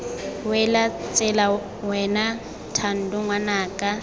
wele tsela wena thando ngwanaka